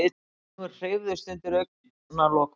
Augun hreyfðust undir augnalokunum.